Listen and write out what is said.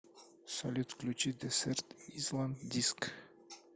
салют включи десерт исланд диск